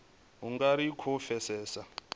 u nga ri khou pfesesa